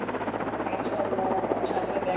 ইনশাল্লাহ সামনে দে